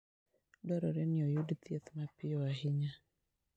Dwarore ni oyud thieth mapiyo ahinya.